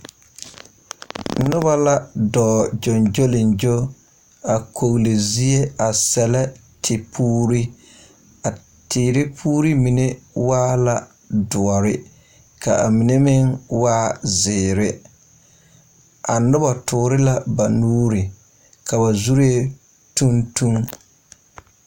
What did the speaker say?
Noba la dɔɔ gyoŋgyoleŋgyo a kogli zie a sɛllɛ tepuuri a teere puuri mine waa la doɔre ka a mine meŋ waa zeere a noba toore la ba nuure ka ba zuree tuŋ tuŋ.